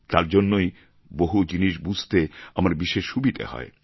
তার জন্যেই বহু জিনিস বুঝতে আমার বিশেষ সুবিধা হয়